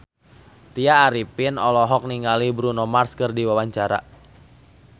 Tya Arifin olohok ningali Bruno Mars keur diwawancara